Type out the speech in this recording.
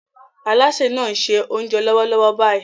Alásè náà ń ṣe oúnjẹ lọ́wọ́lọ́wọ́ báyìí